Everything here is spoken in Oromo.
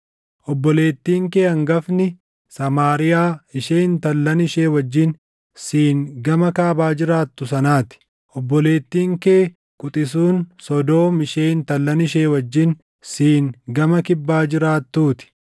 Obboleettiin kee hangafni Samaariyaa ishee intallan ishee wajjin siin gama kaabaa jiraattu sanaa ti; obboleettiin kee quxisuun Sodoom ishee intallan ishee wajjin siin gama kibbaa jiraattuu ti.